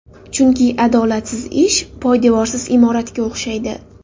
Chunki adolatsiz ish poydevorsiz imoratga o‘xshaydi!